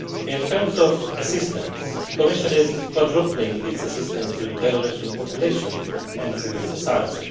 In terms of assistance, the Commission is quadrupling its assistance to the Belarusian population and civil society.